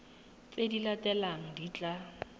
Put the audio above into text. tse di latelang di tla